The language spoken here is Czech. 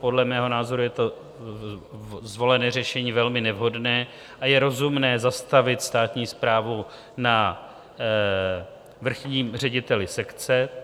Podle mého názoru je to zvolené řešení velmi nevhodné a je rozumné zastavit státní správu na vrchním řediteli sekce.